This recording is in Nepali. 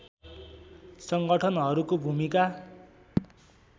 सङ्गठनहरूको भूमिका